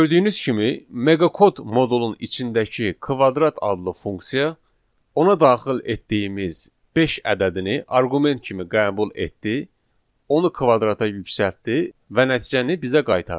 Gördüyünüz kimi meqakod modulun içindəki kvadrat adlı funksiya ona daxil etdiyimiz beş ədədini arqument kimi qəbul etdi, onu kvadrata yüksəltdi və nəticəni bizə qaytardı.